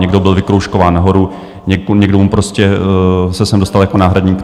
Někdo byl vykroužkován nahoru, někdo se sem dostal jako náhradník.